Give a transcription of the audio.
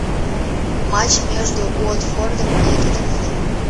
матч между уотфордом и тоттенхэмом